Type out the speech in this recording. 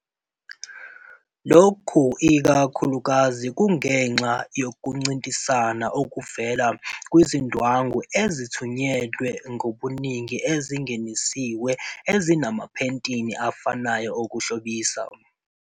Lokhu ikakhulukazi kungenxa yokuncintisana okuvela kwizindwangu ezithunyelwe ngobuningi ezingenisiwe ezinamaphethini afanayo okuhlobisa.